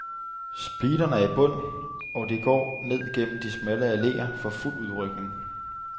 Speederen er i bund, og det går ned gennem de smalle alleer for fuld udrykning.